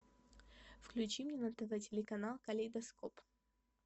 включи мне на тв телеканал калейдоскоп